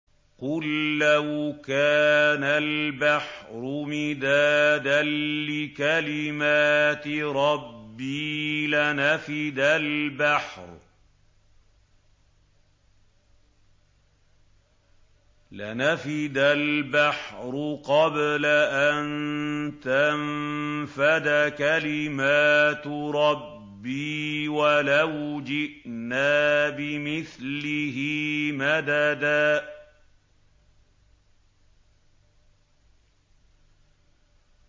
قُل لَّوْ كَانَ الْبَحْرُ مِدَادًا لِّكَلِمَاتِ رَبِّي لَنَفِدَ الْبَحْرُ قَبْلَ أَن تَنفَدَ كَلِمَاتُ رَبِّي وَلَوْ جِئْنَا بِمِثْلِهِ مَدَدًا